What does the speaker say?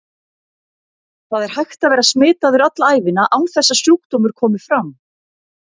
Það er hægt að vera smitaður alla ævina án þess að sjúkdómur komi fram.